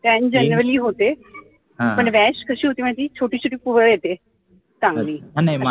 scan generally होते पण rash कशी होते माहिती छोटीशी ती पुरळ येते चांगली